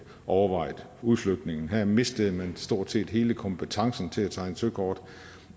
overvejet udflytningen her mistede man stort set hele kompetencen til at tegne søkort